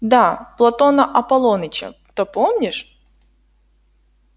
да платона аполлоныча-то помнишь